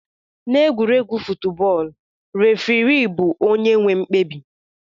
Na egwuregwu futbọl refirii bu onye nwe mkpebi.